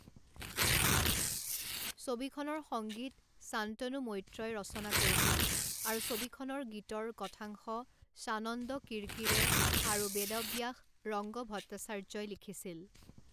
ছবিখনৰ সংগীত শান্তনু মৈত্ৰই ৰচনা কৰিছিল আৰু ছবিখনৰ গীতৰ কথাংশ স্বানন্দ কিৰকিৰে আৰু বেদাব্যাস ৰংগভট্টাচাৰ্যই লিখিছিল।